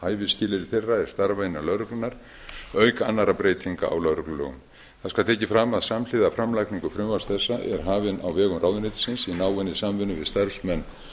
hæfisskilyrði þeirra er starfa innan lögreglunnar auk annarra breytinga á lögreglulögum það skal tekið fram að samhliða framlagningu frumvarps þessa er hafin á vegum ráðuneytisins í náinni samvinnu við starfsmenn